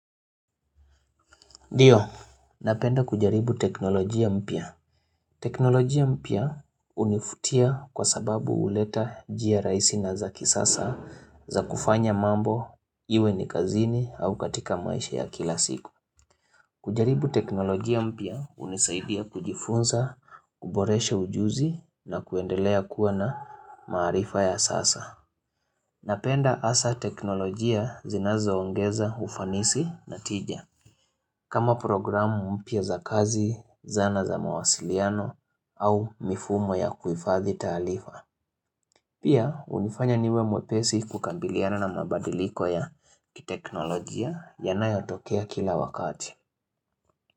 Ndio, napenda kujaribu teknolojia mpya. Teknolojia mpya univutia kwa sababu huleta njia rahisi na za kisasa za kufanya mambo iwe ni kazini au katika maisha ya kila siku. Kujaribu teknolojia mpya unisaidia kujifunza, kuboresha ujuzi na kuendelea kuwa na maarifa ya sasa. Napenda hasa teknolojia zinazoongeza ufanisi na tija kama programu mpya za kazi, zana za mawasiliano au mifumo ya kuhifadhi taarifa. Pia unifanya niwe mwepesi kukabiliana na mabadiliko ya kiteknolojia yanayotokea kila wakati.